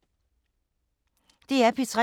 DR P3